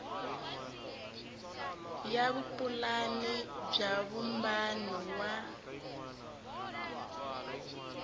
ya vupulani bya vumbano wa